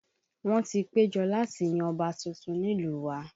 Wọ́n ti ń péjọ láti yan ọba tuntun nílùú wa